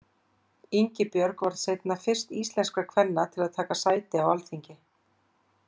Ingibjörg varð seinna fyrst íslenskra kvenna til að taka sæti á Alþingi.